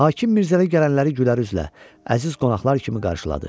Hakim Mirzəli gələnləri gülər üzlə, əziz qonaqlar kimi qarşıladı.